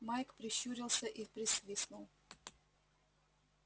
майк прищурился и присвистнул